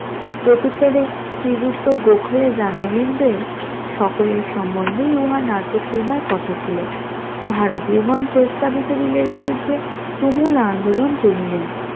প্রতুত্তরে শ্রীযুক্ত গোখলে জানাইলেন যে সকলের সম্বন্ধেই উহা নাকচ হইবার কথা ছিল, ভারতীয় গন প্রস্তাবিত বিলের বিরুদ্ধে তুমুল আন্দোলন তুলিলেন